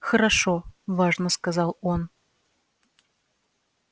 хорошо важно сказал он